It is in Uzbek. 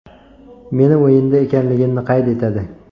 Meni o‘yinda ekanligimni qayd etadi.